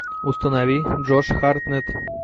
установи джош хартнетт